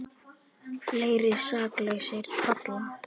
Fleiri saklausir falla